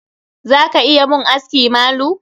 Za ka iya mun aski malu?